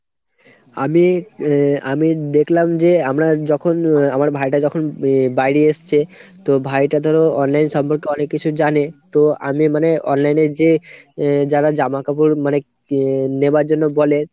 আমি আ আমি দেখলাম যে আমরা যখন আহ আমার ভাইটা যখন আহ বাইরিয়ে এসছে তো ভাইটা ধরো অনলাইন সম্পর্কে অনেক কিছু জানে। তো আমি মানে online এ যে আহ যারা জামাকাপড় মানে এ নেবার জন্য বলে